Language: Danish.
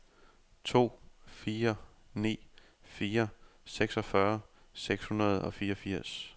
to fire ni fire seksogfyrre seks hundrede og fireogfirs